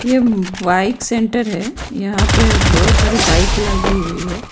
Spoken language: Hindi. ये बाइक सेंटर है यहां पे बहुत सारी बाइक लगी हुई है।